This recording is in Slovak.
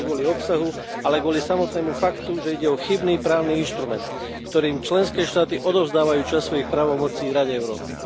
Nie kvôli obsahu, ale samotnému faktu, že ide o chybný právny inštrument, ktorým členské štáty odovzdávajú časť svojich právomocí Rade Európy.